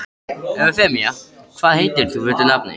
Eufemía, hvað heitir þú fullu nafni?